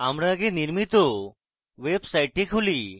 আমাদের আগে নির্মিত ওয়েবসাইটটি খুলি